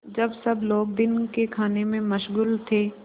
जब सब लोग दिन के खाने में मशगूल थे